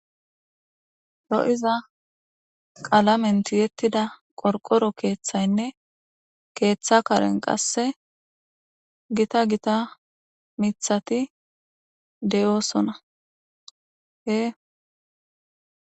Lo7iza qalamen tiyettida qorqoro keeththaynne keeththa karen qasse gita gita mithati de7oosona hee